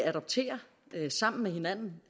adoptere sammen med hinanden